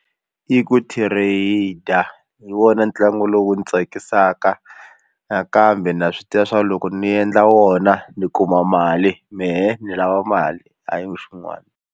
I ku trade or hi wona ntlangu lowu ndzi tsakisaka nakambe na swi tiva swa loko ni endla wona ni kuma mali mehe ni lava mali hayi xin'wana.